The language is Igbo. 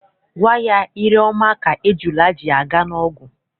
Gwa ya, ire ọma ka ejula ji aga n'ogwu!